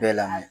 Bɛɛ lamɔ ye